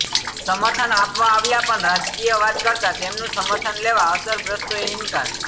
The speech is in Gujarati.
સમર્થન આપવા આવ્યા પણ રાજકીય વાત કરતા તેમનું સમર્થન લેવા અસરગ્રસ્તોએ ઇન્કાર